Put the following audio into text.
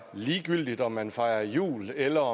ligegyldigt om man fejrer jul eller